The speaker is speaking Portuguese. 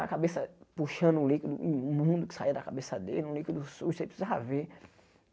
A cabeça puxando um líquido imundo que saia da cabeça dele, um líquido sujo, você precisava ver.